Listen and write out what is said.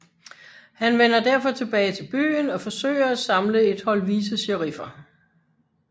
Han vender derfor tilbage til byen og forsøger at samle et hold vicesheriffer